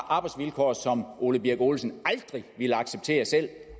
arbejdsvilkår som ole birk olesen aldrig ville acceptere selv at